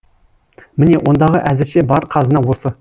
міне ондағы әзірше бар қазына осы